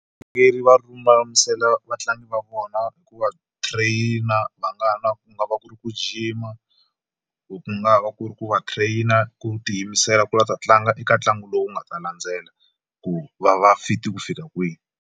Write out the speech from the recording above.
Varhangeri va lulamisela vatlangi va vona hi ku va trainer va nga na ku nga va ku ri ku gym-a ku nga va ku ri ku va trainer ku tiyimisela ku la ta tlanga eka ntlangu lowu nga ta landzela ku va va fit ku fika kwihi.